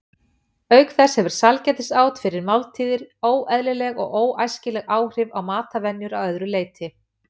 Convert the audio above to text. Auk þess hefur sælgætisát fyrir máltíðir óeðlileg og óæskileg áhrif á matarvenjur að öðru leyti.